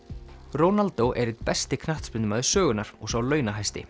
Ronaldo er einn besti knattspyrnumaður sögunnar og sá